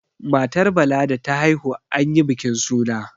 matar Bala da ta haihu an yi bikin suna